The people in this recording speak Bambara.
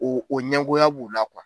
O o ɲɛngoya b'u la